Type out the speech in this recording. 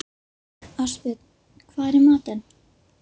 Ástbjörn, hvað er í matinn?